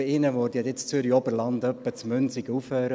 Bei ihnen würde ja das Zürcher Oberland etwa in Münsingen aufhören;